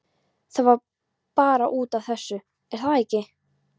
Það var bara út af þessu, er það ekki?